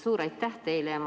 Suur aitäh teile!